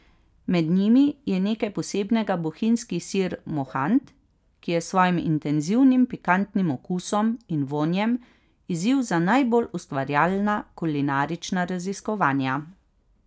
Med njimi je nekaj posebnega bohinjski sir mohant, ki je s svojim intenzivnim pikantnim okusom in vonjem izziv za najbolj ustvarjalna kulinarična raziskovanja.